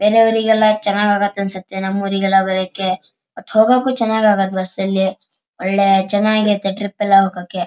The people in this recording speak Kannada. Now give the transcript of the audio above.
ಬೇರೆಯವ್ರಿಗೆಲ್ಲ ಚೆನ್ನಾಗಿ ಆಗುತ್ತೆ ಅನ್ಸುತ್ತೆ ನಮ್ ಊರಿಗೆಲ್ಲ ಬರೋಕೆ ಮತ್ ಹೋಗಕೂ ಚೆನ್ನಾಗ್ ಆಗುತ್ತೆ ಬಸ್ ಅಲ್ಲಿ ಒಳ್ಳೆ ಚೆನ್ನಾಗ್ ಇರುತ್ತೆ ಟ್ರಿಪ್ ಎಲ್ಲ ಹೋಗೋಕೆ.